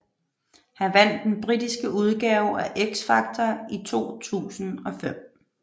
Han vandt den britiske udgave af X Factor i 2005